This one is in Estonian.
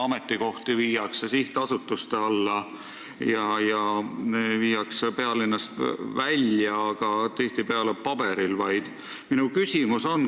Ametikohti viiakse sihtasutuste alla ja pealinnast välja, aga tihtipeale vaid paberil.